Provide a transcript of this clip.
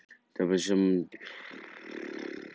Þér fannst það vera Hugrúnu að kenna að Baldur fyrirfór sér?